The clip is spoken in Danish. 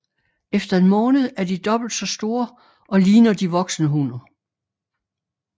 Efter en måned er de dobbelt så store og ligner de voksne hummer